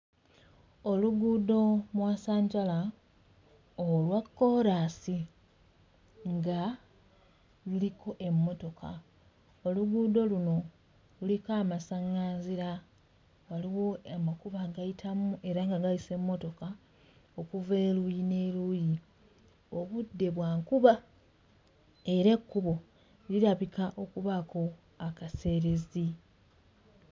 Oluguudo mwasanjala olwa kkoolaasi nga luliko emmotoka oluguudo luno luliko amasaᵑᵑanzira waliwo amakubo agayitamu era nga gayisa emmotoka okuva eruuyi n'eruuyi obudde bwa nkuba era ekkubo lirabika okubaako akaseerezi.